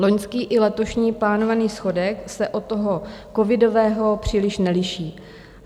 Loňský i letošní plánovaný schodek se od toho covidového příliš neliší.